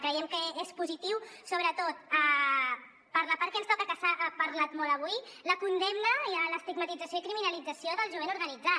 creiem que és positiu sobretot per la part que ens toca que s’ha parlat molt avui la condemna l’estigmatització i criminalització del jovent organitzat